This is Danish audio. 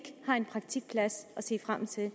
har en praktikplads at se frem til